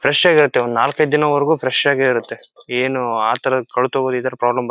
fresh ಆಗಿ ಇರುತ್ತೆ ಒಂದ್ ನಾಲ್ಕ್ ಐದು ದಿನ ಮಾತ್ರ ವರೆಗೂ ಫ್ರೆಶ್ ಆಗೆ ಇರುತ್ತೆ ಏನು ಅಥರ ಕೊಳ್ತು ಹೋಗೋ ಇದ್ರ್ ಪ್ರಾಬ್ಲಮ್ --